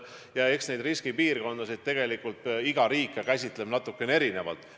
Ja eks neid riskipiirkondasid tegelikult iga riik käsitleb natukene erinevalt.